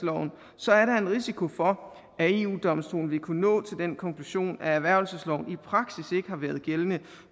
så er der en risiko for at eu domstolen vil kunne nå til den konklusion at erhvervelsesloven i praksis ikke har været gældende